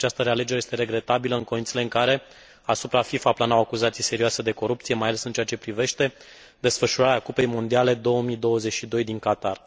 Cred că această realegere este regretabilă în condițiile în care asupra FIFA planau acuzații serioase de corupție, mai ales în ceea ce privește desfășurarea cupei mondiale 2022 din Qatar.